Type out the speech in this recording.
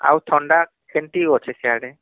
ଆଉ ଥଣ୍ଡା କେମତି ଅଛି ସିଆଡେ